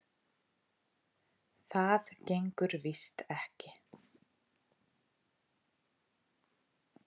Það gengur víst ekki.